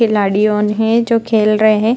खिलाड़ी ऑन है जो खेल रहे हैं।